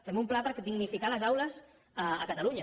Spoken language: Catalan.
fem un pla per dignificar les aules a catalunya